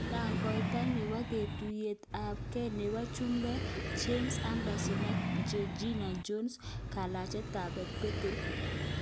Tangoita nepo katuiyet ap gei nepo chumbeek:Jamel Anderson ak Gergina Jones kolakchigei peteinik